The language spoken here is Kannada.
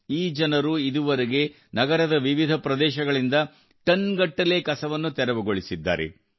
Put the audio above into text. ಈ ಜನರು ಇದುವರೆಗೆ ನಗರದ ವಿವಿಧ ಪ್ರದೇಶಗಳಿಂದ ಟನ್ಗಟ್ಟಲೆ ಕಸವನ್ನು ತೆರವುಗೊಳಿಸಿದ್ದಾರೆ